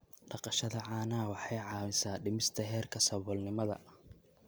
Dhaqashada caanaha waxay caawisaa dhimista heerka saboolnimada.